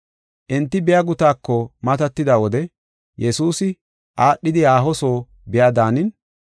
Enti biya gutaako matatida wode Yesuusi aadhidi haaho soo biya daanin,